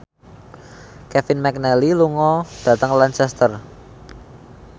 Kevin McNally lunga dhateng Lancaster